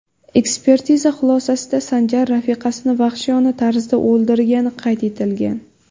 Ekspertiza xulosasida Sanjar rafiqasini vahshiyona tarzda o‘ldirgani qayd etilgan.